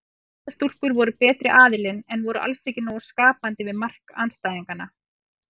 Eyjastúlkur voru betri aðilinn en voru alls ekki nógu skapandi við mark andstæðinganna.